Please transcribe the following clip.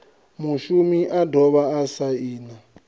mushumi a dovha a saina